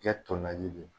Kɛ tɔ laji de ye